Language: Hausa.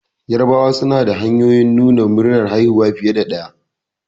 Yarabawa suna da hanyoyin nuna murnar haihuwa fiye da ɗaya